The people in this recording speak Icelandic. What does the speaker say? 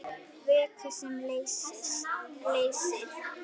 Vökvi sem leysir